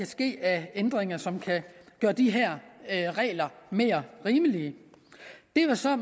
ske af ændringer som kunne gøre de her regler mere rimelige det var så